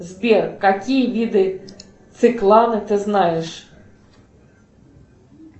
сбер какие виды циклана ты знаешь